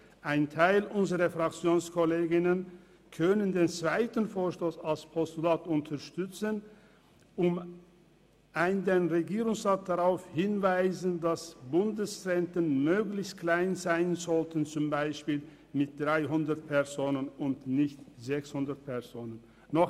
Ein Teil unserer FraktionskollegInnen kann den zweiten Vorstoss als Postulat unterstützen, um den Regierungsrat darauf hinzuweisen, dass Bundeszentren möglichst klein sein sollten, zum Beispiel mit 300 Personen und nicht mit 600.